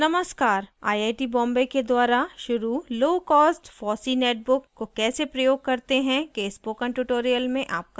नमस्कार iit बॉम्बे के द्वारा शुरू low cost low cost fossee netbook को कैसे प्रयोग करते हैं के spoken tutorial में आपका स्वागत है